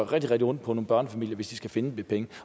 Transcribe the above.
rigtig ondt på nogle børnefamilie hvis de skal finde de penge